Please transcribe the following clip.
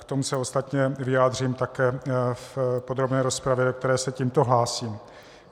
K tomu se ostatně vyjádřím také v podrobné rozpravě, do které se tímto hlásím.